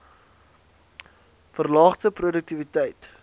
verlaagde p roduktiwiteit